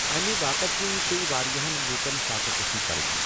امہ واقع كنۍ پیٚیہِ واریاہن لوٗكن فاقہٕ كٔشی كرٕنۍ۔